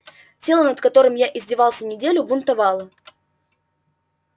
тело над которым я издевался неделю бунтовало